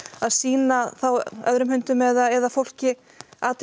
sýna þá öðrum hundum eða fólki athygli